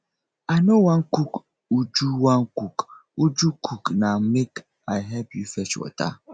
i no wan cook uju wan cook uju cook na make i help you fetch water